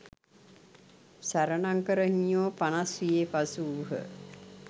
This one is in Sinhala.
සරණංකර හිමියෝ පනස් වියේ පසු වූහ.